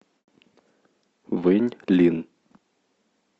вэньлин